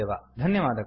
ಧನ್ಯವಾದಗಳು